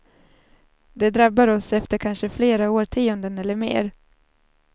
De drabbar oss efter kanske flera årtionden eller mer.